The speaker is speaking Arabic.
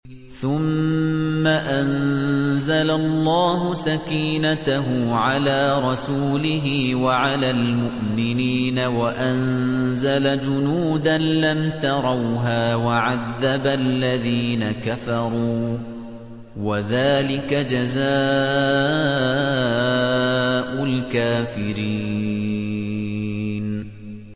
ثُمَّ أَنزَلَ اللَّهُ سَكِينَتَهُ عَلَىٰ رَسُولِهِ وَعَلَى الْمُؤْمِنِينَ وَأَنزَلَ جُنُودًا لَّمْ تَرَوْهَا وَعَذَّبَ الَّذِينَ كَفَرُوا ۚ وَذَٰلِكَ جَزَاءُ الْكَافِرِينَ